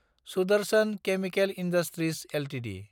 Sudarshan chemical industries Ltd